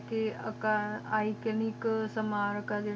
ਤ ਲੈ ਕ ਏਕਾ ਇਓਕੋਨਿਕ ਸਮਾਂ ਕਲੇਰੀ ਟਾਕਰੇ ਮਾਕਾਹ ਮਸਜਿਦ ਮਾਕ੍ਬਾਰਹ